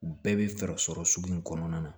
U bɛɛ bɛ fɛɛrɛ sɔrɔ sugu in kɔnɔna na